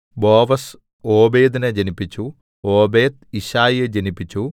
ബോവസ് ഓബേദിനെ ജനിപ്പിച്ചു ഓബേദ് യിശ്ശായിയെ ജനിപ്പിച്ചു